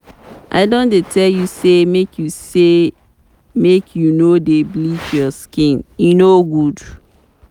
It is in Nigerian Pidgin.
I don tell you sey make you say make you no dey bleach your skin, e no good.